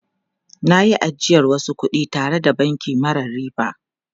Na yi ajiyar wasu kudi tare da banki mara riba.